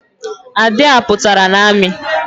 Ade à pụtara n'ami